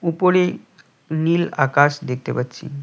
উপরে নীল আকাশ দেখতে পাচ্ছি।